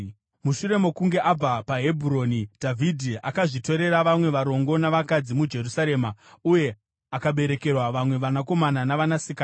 Mushure mokunge abva paHebhuroni, Dhavhidhi akazvitorera vamwe varongo navakadzi muJerusarema, uye akaberekerwa vamwe vanakomana navanasikana.